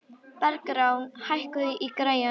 Bergrán, hækkaðu í græjunum.